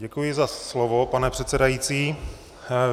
Děkuji za slovo, pane předsedající.